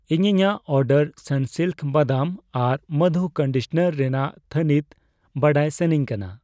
ᱤᱧ ᱤᱧᱟᱜ ᱚᱰᱟᱨ ᱥᱟᱱᱥᱤᱞᱠ ᱵᱟᱫᱟᱢ ᱟᱨ ᱢᱚᱫᱷᱩ ᱠᱚᱱᱰᱤᱥᱚᱱᱟᱨ ᱨᱮᱱᱟᱜ ᱛᱷᱟᱱᱤᱛ ᱵᱟᱰᱟᱭ ᱥᱟᱹᱱᱟᱧ ᱠᱟᱱᱟ ᱾